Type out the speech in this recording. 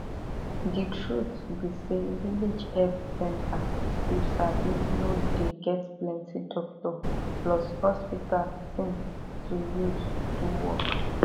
de truth be say village health center you sabi no dey get plenti doctor plus hospital thing to use do work